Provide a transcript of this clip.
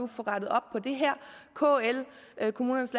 få rettet op på det her kl kommunernes